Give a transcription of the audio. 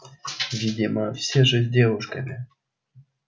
видимо все же с девушки